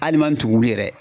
Hali n'i man tugun wili yɛrɛ.